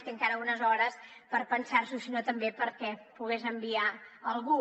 té encara unes hores per pensars’ho i si no també perquè hi pogués enviar algú